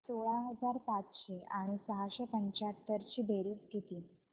सोळा हजार पाचशे आणि सहाशे पंच्याहत्तर ची बेरीज किती